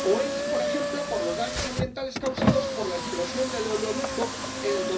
o Eni, por ejemplo, por los daños ambientales causados por la explosión del oleoducto en